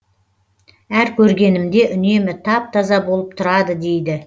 әр көргенімде үнемі тап таза болып тұрады дейді